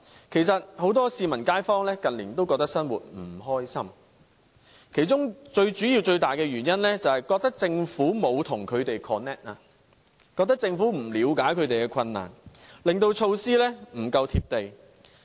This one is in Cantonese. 其實很多市民和街坊近年也覺得生活不愉快，其中最主要、最大的原因，便是覺得政府沒有與他們 connect， 覺得政府不了解他們的困難，令措施不夠"貼地"。